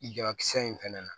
Jabakisɛ in fɛnɛ na